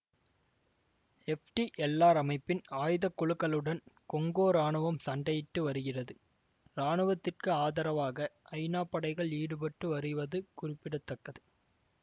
FDLR அமைப்பின் ஆயுதக்குழுக்களுடன் Congo இராணுவம் சண்டையிட்டு வருகிறது இராணுவத்திற்கு ஆதரவாக ஐநா படைகள் ஈடுபட்டு வருவது குறிப்பிட தக்கது